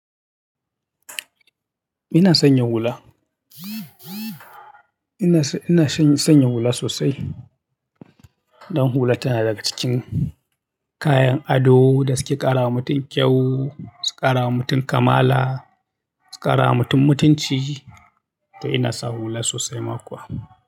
Ina sanya hula. Ina, ina shany-sanya hula sosai. Dan hula tana daga cikin kayan ado da suke ƙara wa mutum kyau, su ƙara wa mutum kamala, su ƙara wa mutum mutunci. To ina sa hula sosai ma kuwa.